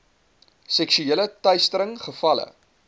seksuele teistering gevalle